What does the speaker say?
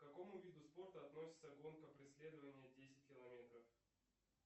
к какому виду спорта относится гонка преследование десять километров